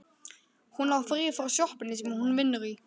Hún á frí frá sjoppunni sem hún vinnur í.